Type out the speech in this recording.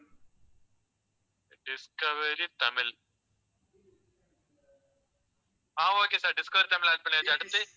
Discovery Tamil ஆஹ் okay sir discovery Tamil add பண்ணியாச்சு, அடுத்து?